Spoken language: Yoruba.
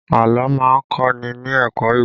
Àlọ́ má ń kọ́ ni ní ẹ̀kọ́ ìwà